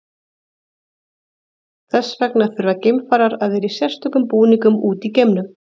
þess vegna þurfa geimfarar að vera í sérstökum búningum úti í geimnum